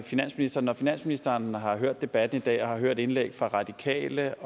finansministeren når finansministeren har hørt debatten i dag og har hørt indlæg fra radikale